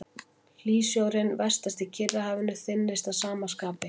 Hlýsjórinn vestast í Kyrrahafinu þynnist að sama skapi.